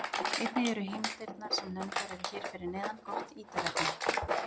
Einnig eru heimildirnar sem nefndar eru hér fyrir neðan gott ítarefni.